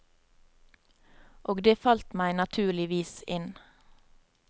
Og det falt meg naturligvis inn.